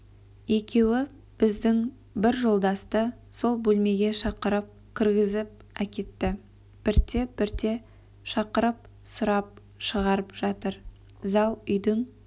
екеуі біздің бір жолдасты сол бөлмеге шақырып кіргізіп әкетті бірте-бірте шақырып сұрап шығарып жатыр зал үйдің